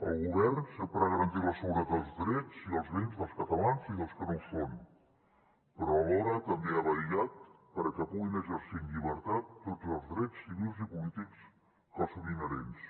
el govern sempre ha garantit la seguretat dels drets i els bens dels catalans i dels que no ho són però alhora també ha vetllat perquè puguin exercir en llibertat tots els drets civils i polítics que els són inherents